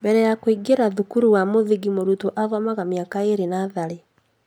Mbere ya kũingĩra cukuru wa mũthingi mũrutwo athomaga mĩaka ĩrĩ natharĩ